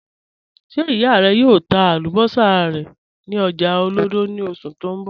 Ṣe iya rẹ yòò tà àlúbọ̀ṣà rẹ ni ọ̀jà Olodo ni oṣù ti n bọ?